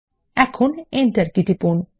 এখন enter key টিপুন